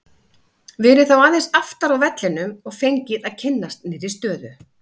Verið þá aðeins aftar á vellinum og fengið að kynnast nýrri stöðu.